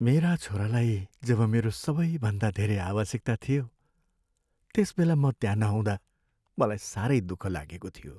मेरा छोरालाई जब मेरो सबैभन्दा धेरै आवश्यकता थियो त्यसबेला म त्यहाँ नहुँदा मलाई सारै दुःख लागेको थियो।